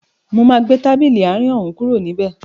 Mo máa gbé tábìlì àárín òún kúrò níbẹ̀